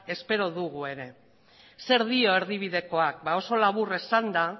espero dugu ere zer dio erdibidekoak ba oso labur esanda